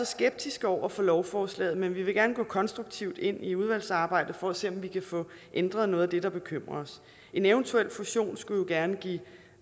skeptiske over for lovforslaget men vi vil gerne gå konstruktivt ind i udvalgsarbejdet for at se om vi kan få ændret noget af det der bekymrer os en eventuel fusion skulle jo gerne give